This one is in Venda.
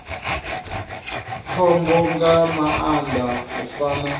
khombo nga maanḓa u fana